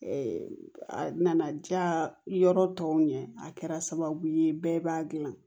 a nana diya yɔrɔ tɔw ɲɛ a kɛra sababu ye bɛɛ b'a dilan